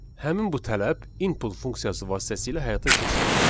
Həmin bu tələb input funksiyası vasitəsilə həyata keçirilir.